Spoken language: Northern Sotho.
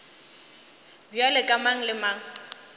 bjalo ka mang le mang